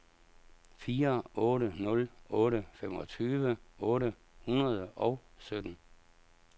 fire otte nul otte femogtyve otte hundrede og sytten